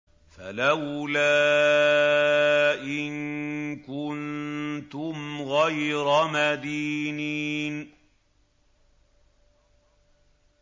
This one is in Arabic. فَلَوْلَا إِن كُنتُمْ غَيْرَ مَدِينِينَ